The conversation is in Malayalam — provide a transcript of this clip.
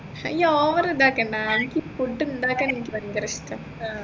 ഈ over ഇതാക്കേണ്ട എനിക്ക് food ഉണ്ടാക്കാൻ എനിക്ക് ഭയങ്കര ഇഷ്ടാ